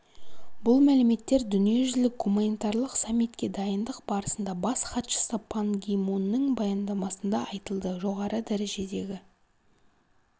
бұл мәліметтер дүниежүзілік гуманитарлық саммитке дайындық барысында бас хатшысы пан ги мунның баяндамасында айтылды жоғары дәрежедегі